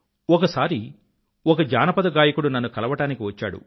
ఒకసారి ఒక జానపదగాయకుడు నన్ను కలవడానికి వచ్చాడు